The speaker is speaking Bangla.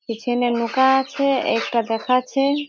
পিছনে নৌকা আছে এটা দেখাচ্ছে।